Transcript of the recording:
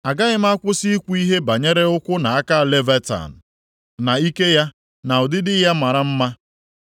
“Agaghị m akwụsị ikwu ihe banyere ụkwụ na aka Leviatan, na ike ya, na ụdịdị ya mara mma.